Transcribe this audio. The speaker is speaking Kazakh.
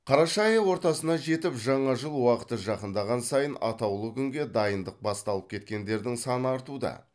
қараша айы ортасына жетіп жаңа жыл уақыты жақындаған сайын атаулы күнге дайындық басталып кеткендердің саны артуда